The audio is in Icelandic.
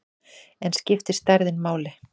En skiptir stærðin máli?